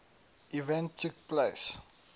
event took place